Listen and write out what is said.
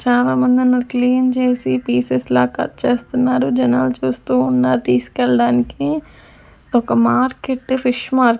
చాలామంది ఉన్నారు క్లీన్ చేసి పీసెస్ లా కట్ చేస్తున్నారు జనాలు చూస్తూ ఉన్నారు తీసుకెళ్ళడానికి ఒక మార్కెట్ ఫిష్ మా --